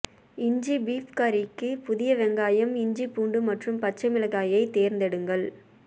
இஞ்சி பீட் கறிக்கு புதிய வெங்காயம் இஞ்சி பூண்டு மற்றும் பச்சை மிளகியைத் தேர்ந்தெடுங்கள்